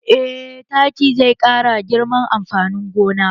Eh taki zai ƙara girman amfanin gona